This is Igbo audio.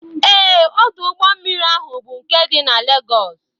Ee, ọdụ ụgbọmmiri ahụ bụ nke dị na Legọs